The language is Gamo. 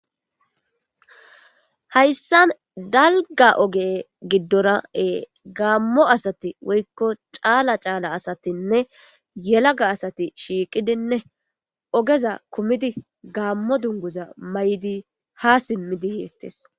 Hayssan dalgga oge giddora gamo asati woykko cala cala asatinne yelagga asati shiqidinne ogez kumidine gamo dunguza mayidi ha simidi yetes.